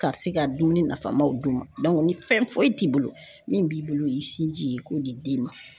Ka se ka dumuni nafamaw d'u ma ni fɛn foyi t'i bolo min b'i bolo o y'i sinji ye i k'o di den ma.